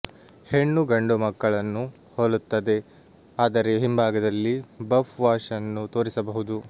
ಹೆಣ್ಣು ಗಂಡುಮಕ್ಕಳನ್ನು ಹೋಲುತ್ತದೆ ಆದರೆ ಹಿಂಭಾಗದಲ್ಲಿ ಬಫ್ ವಾಶ್ ಅನ್ನು ತೋರಿಸಬಹುದು